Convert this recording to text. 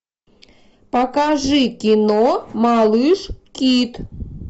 покажи кино малыш кит